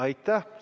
Aitäh!